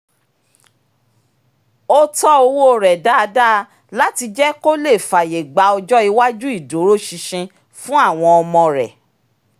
ó tọ́ owó rẹ dáadáa láti jẹ́ kó lè fàyè gba ọjọ́ iwájú ìdúróṣinṣin fún àwọn ọmọ rẹ